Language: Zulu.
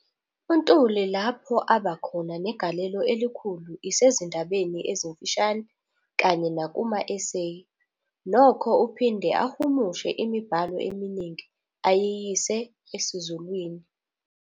UNtuli lapho aba khona negalelo elikhulu isezindabeni ezimfishane kanye nakuma-eseyi, nokho uphinde ahumushe imibhalo eminingi ayiyise esiZulwini.